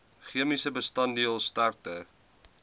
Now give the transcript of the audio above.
chemiese bestanddeel sterkte